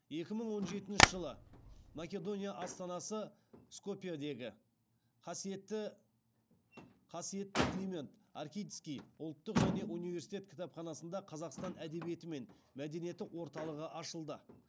екі мың он жетінші жылы македония астанасы скопьедегі қасиетті климент охридский ұлттық және университет кітапханасында қазақстан әдебиеті мен мәдениеті орталығы ашылды